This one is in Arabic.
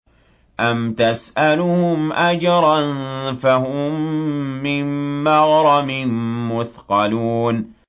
أَمْ تَسْأَلُهُمْ أَجْرًا فَهُم مِّن مَّغْرَمٍ مُّثْقَلُونَ